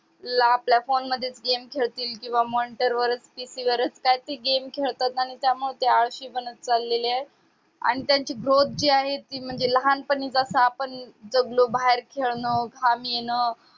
ला आपल्या फोन वरच game खेळतील किंवा monitor वरच त्याची गरज काय तर ती game खेळतात आणि म्हणूनच ते आळशी बनत चालले आहेत आणि त्यांची growth जे आहे ती लहानपणीच जस आपण जगलो बाहेर खेळणं घाम येन